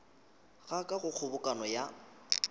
ga ka go kgobokano ya